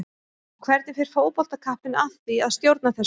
Og hvernig fer fótboltakappinn að því að stjórna þessu?